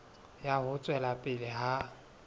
ya ho tswela pele ha